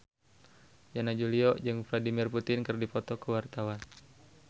Yana Julio jeung Vladimir Putin keur dipoto ku wartawan